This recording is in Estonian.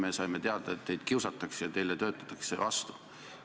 Me saime teada, et teid kiusatakse ja teile töötatakse vastu.